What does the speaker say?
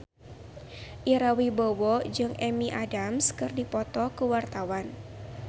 Ira Wibowo jeung Amy Adams keur dipoto ku wartawan